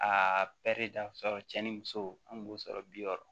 Aa pɛri dafara cɛ ni muso an kun b'o sɔrɔ bi wɔɔrɔ